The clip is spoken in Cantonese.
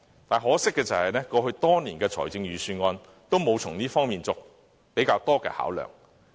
很可惜，過去多年的預算案也沒有從這方面作較多的考量。